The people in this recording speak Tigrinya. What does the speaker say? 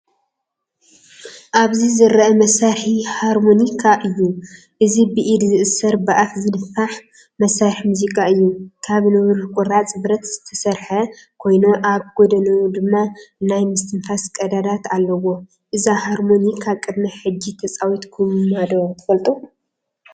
ኣብዚ ዝርአ መሳርሒ ሃርሞኒካ እዩ። እዚ ብኢድ ዝእሰር፡ ብኣፍ ዝነፍሕ መሳርሒ ሙዚቃ እዩ። ካብ ንብሩህ ቁራጽ ብረት ዝተሰርሐ ኮይኑ ኣብ ጎድኑ ድማ ናይ ምስትንፋስ ቀዳዳት ኣለዎ። እዛ ሃርሞኒካ ቅድሚ ሕጂ ተፃዊትኩማ ዶ ትፈልጡ?